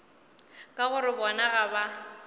ka gore bona ga ba